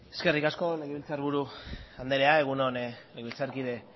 eskerrik asko legebiltzarburu anderea egun on legebiltzarkide